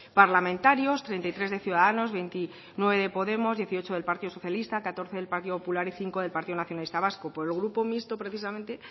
parlamentarios treinta y tres de ciudadanos veintinueve de podemos dieciocho del partido socialista catorce del partido popular y cinco del partido nacionalista vasco por el grupo mixto precisamente